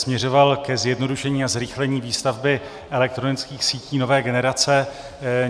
Směřoval ke zjednodušení a zrychlení výstavby elektronických sítí nové generace.